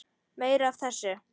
Meira af þessu!